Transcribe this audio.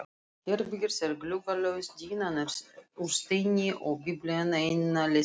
Herbergið er gluggalaust, dýnan úr steini og Biblían eina lesefnið.